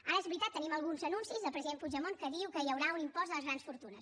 ara és veritat tenim alguns anuncis del president puigdemont que diu que hi haurà un impost a les grans fortunes